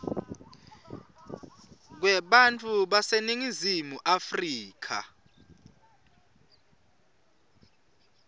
kwebantfu baseningizimu afrika